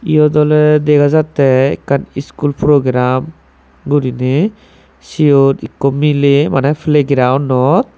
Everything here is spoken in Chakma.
iyot oley dega jattey ekkan iskul program guriney siyot ikko miley maney playgrounnot.